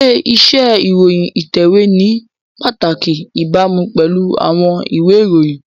Ṣé iṣẹ́ ìròyìn ìtẹ̀wé ní pàtàkì ìbámu pẹ̀lú àwọn ìwé ìròyìn?